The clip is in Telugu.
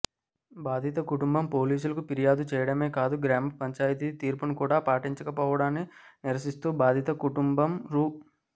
బాధిత కుటుంబం పోలీసులకు ఫిర్యాదు చేయడమే కాదు గ్రామపంచాయితీ తీర్పును కూడ పాటించకపోవడాన్ని నిరసిస్తూ బాధిత కుటుంబం రూ